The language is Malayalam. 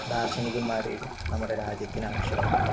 ദാർശനികന്മാരെയും നമ്മുടെ രാജ്യത്തിന് ആവശ്യമുണ്ട്